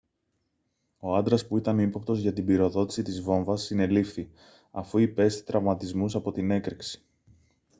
ο άντρας που ήταν ύποπτος για την πυροδότηση της βόμβας συνελήφθη αφού υπέστη τραυματισμούς από την έκρηξη